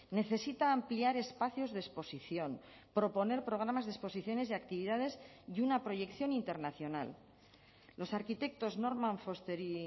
necesita ampliar espacios de exposición proponer programas de exposiciones y actividades y una proyección internacional los arquitectos norman foster y